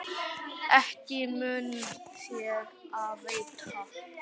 Ekki mun þér af veita.